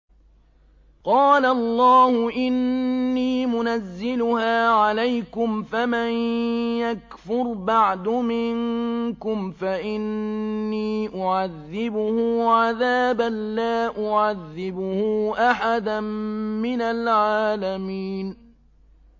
قَالَ اللَّهُ إِنِّي مُنَزِّلُهَا عَلَيْكُمْ ۖ فَمَن يَكْفُرْ بَعْدُ مِنكُمْ فَإِنِّي أُعَذِّبُهُ عَذَابًا لَّا أُعَذِّبُهُ أَحَدًا مِّنَ الْعَالَمِينَ